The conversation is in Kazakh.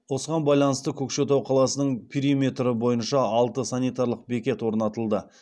осыған байланысты көкшетау қаласының периметрі бойынша алты санитарлық бекет орнатылды